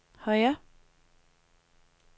højre